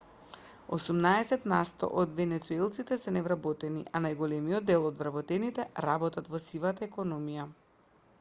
осумнаесет насто од венецуелците се невработени а најголемиот дел од вработените работат во сивата економија